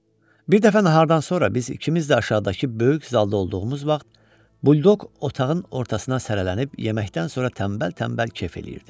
Bir dəfə nahardan sonra biz ikimiz də aşağıdakı böyük zalda olduğumuz vaxt, buldoq otağın ortasına sərilənib yeməkdən sonra tənbəl-tənbəl kef eləyirdi.